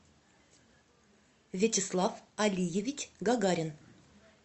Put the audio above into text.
вячеслав алиевич гагарин